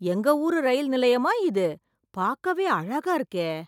எங்க ஊரு ரயில் நிலையமா இது பார்க்கவே அழகா இருக்கே